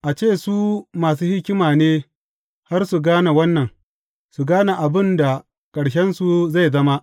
A ce su masu hikima ne har su gane wannan su gane abin da ƙarshensu zai zama!